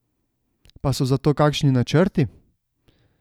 Pa so za to kakšni načrti?